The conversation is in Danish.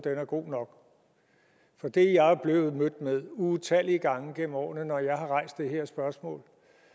er god nok for det er jeg blevet mødt med utallige gange gennem årene når jeg har rejst det her spørgsmål